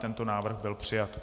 Tento návrh byl přijat.